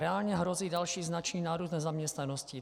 Reálně hrozí další značný nárůst nezaměstnanosti.